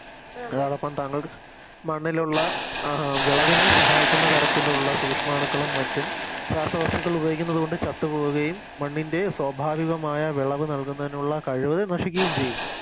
അതോടൊപ്പം താങ്കൾ മണ്ണിലുള്ള അഹ് വിളവിനെ സഹായിക്കുന്ന തരത്തിലുള്ള സൂഷ്മാണുക്കളും മറ്റും രാസവസ്തുക്കൾ ഉപയോഗിക്കുന്നത് കൊണ്ട് ചത്തുപോകുകയും മണ്ണിൻറെ സ്വാഭാവികമായ വിളവ് നൽകുന്നതിനുള്ള കഴിവ്കള് നശിക്കുകയും ചെയ്യുന്നു